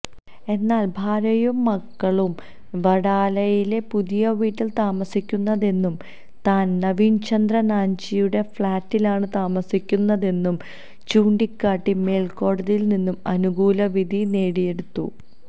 എന്നാല് ഭാര്യയും മക്കളുമാണ് വഡാലയിലെ പുതിയവീട്ടില് താമസിക്കുന്നതെന്നും താന് നവീന്ചന്ദ്ര നാന്ജിയുടെ ഫ്ളാറ്റിലാണ് താമസിക്കുന്നതെന്നും ചൂണ്ടിക്കാട്ടി മേല്ക്കോടതിയില്നിന്ന് അനുകൂലവിധി നേടിയെടുത്തു